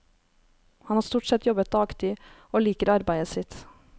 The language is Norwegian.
Han har stort sett jobbet dagtid, og liker arbeidet sitt.